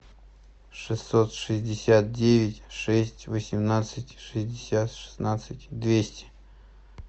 шестьсот шестьдесят девять шесть восемнадцать шестьдесят шестнадцать двести